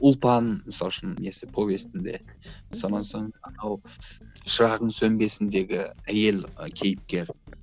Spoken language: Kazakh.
ұлпан мысалы үшін несі повестінде сонан соң анау шырағың сөнбесіндегі әйел і кейіпкер